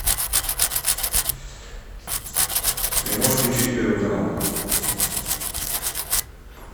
ты можешь включить первый канал